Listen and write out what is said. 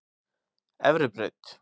Efribraut